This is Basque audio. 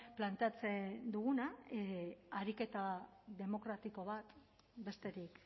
planteatzen duguna ariketa demokratiko bat besterik